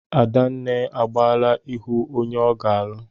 Adenna agaala ịhụ onye ọ ga-alụ.